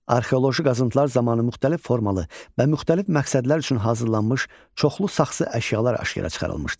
Arxeoloji qazıntılar zamanı müxtəlif formalı və müxtəlif məqsədlər üçün hazırlanmış çoxlu saxsı əşyalar aşkara çıxarılmışdır.